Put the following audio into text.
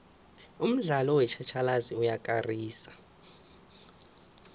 umdlalo wetjhatjhalazi uyakarisa